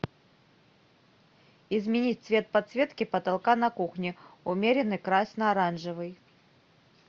изменить цвет подсветки потолка на кухне умеренный красно оранжевый